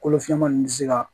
Kolo fiɲaman nunnu bɛ se ka